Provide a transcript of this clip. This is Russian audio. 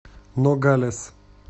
ногалес